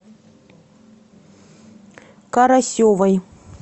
карасевой